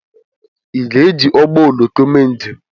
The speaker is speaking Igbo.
Ị ga-eji ụgbọ oloko mee njem?